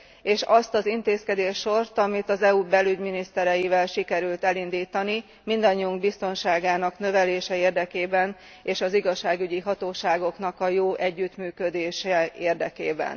És azt az intézkedéssort, amit az EU belügyminisztereivel sikerült elindítani mindannyiunk biztonságának növelése érdekében, és az igazságügyi hatóságoknak a jó együttműködése érdekében.